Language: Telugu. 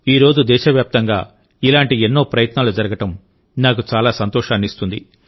ఈరోజు దేశవ్యాప్తంగా ఇలాంటి ఎన్నో ప్రయత్నాలు జరగడం నాకు చాలా సంతోషాన్నిస్తుంది